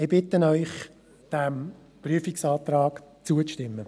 Ich bitte Sie, diesem Prüfungsantrag zuzustimmen.